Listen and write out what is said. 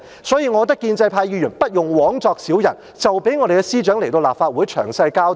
所以，我認為建制派議員不用枉作小人，就讓司長來立法會作詳細交代。